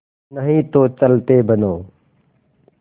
नहीं तो चलते बनो